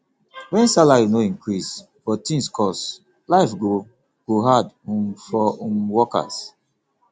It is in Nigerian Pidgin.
when salary no increase but things cost life go go hard um for um worker